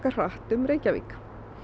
hratt um Reykjavík